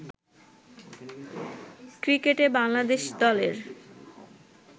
ক্রিকেটে বাংলাদেশ দলের